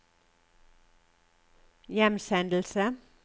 hjemsendelse